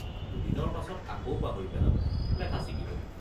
দুদিনৰ পাছত আকৌ পাহৰি পেলাব—লেঠা ছিগিব।